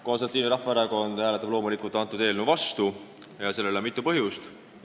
Konservatiivne Rahvaerakond hääletab loomulikult selle eelnõu vastu ja sellel on mitu põhjust.